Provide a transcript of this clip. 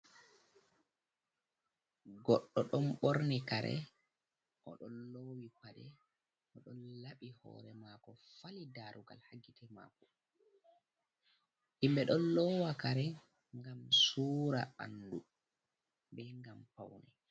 Goɗɗo ɗon borni kare o ɗon lowi pade o don labi hore mako fali darugal hagite mako himbe ɗon lowa kare gam sura andu be gam pauni.